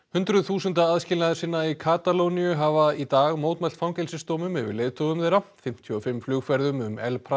hundruð þúsunda aðskilnaðarsinna í Katalóníu hafa í dag mótmælt fangelsisdómum yfir leiðtogum þeirra fimmtíu og fimm flugferðum um El